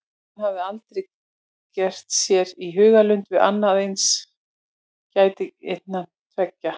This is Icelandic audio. Hann hafði aldrei gert sér í hugarlund að annað eins gæti gerst innan þessara veggja.